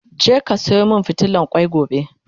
je ka Sayo min fitilan kwai gobe!